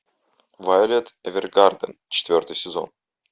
вайолет эвергарден четвертый сезон